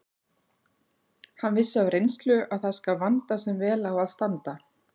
Hann vissi af reynslu að það skal vanda sem vel á að standa.